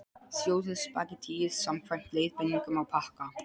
Sjóðið spagettíið samkvæmt leiðbeiningum á pakka.